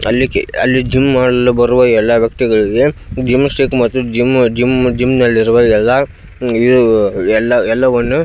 ಅಲ್ಲಿಕೆ ಅಲ್ಲಿ ಜಿಮ್ ಅಲ್ಲಿ ಬರುವ ಎಲ್ಲ ವ್ಯಕ್ತಿಗಳಿಗೆ ಜಿಮ್ಸ್ಟಿಕ್ ಮತ್ತು ಜಿಮ್ ಜಿಮ್ ಜಿಮ್ನಲ್ಲಿರುವ ಎಲ್ಲ ಎಲ್ಲವನ್ನುಇದು ಎಲ್ಲವನ್ನು --